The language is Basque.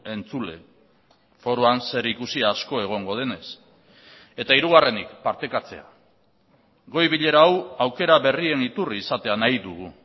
entzule foroan zer ikusi asko egongo denez eta hirugarrenik partekatzea goi bilera hau aukera berrien iturri izatea nahi dugu